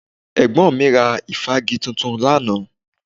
Ẹ̀gbọ́n mi ra ìfági tuntun lánàá